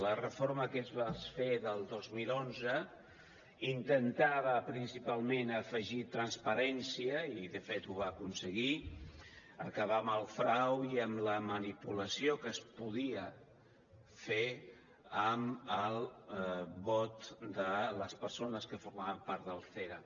la reforma que es va fer del dos mil onze intentava principalment afegir transparència i de fet ho va aconseguir acabar amb el frau i amb la manipulació que es podia fer amb el vot de les persones que formaven part del cera